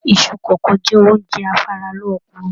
Iṣu kókó jẹ oúnjẹ afaralókun.